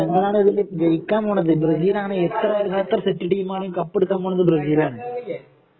ഞമ്മളാണ് ഇതില് ജയിക്കാന് പോന്നത് ബ്രസീലാണ് എത്ര നമ്മള് എത്ര സെറ്റ് ടീമാണ് കപ്പെടുക്കാന് പോന്നത് ബ്രസീലാണ്